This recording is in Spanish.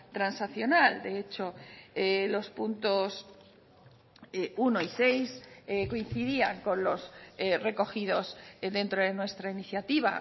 transaccional de hecho los puntos uno y seis coincidían con los recogidos dentro de nuestra iniciativa